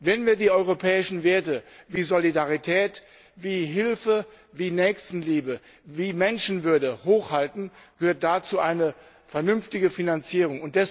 Wenn wir die europäischen Werte wie Solidarität, wie Hilfe, wie Nächstenliebe, wie Menschenwürde hochhalten, gehört dazu eine vernünftige Finanzierung.